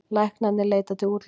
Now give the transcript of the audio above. Læknarnir leita til útlanda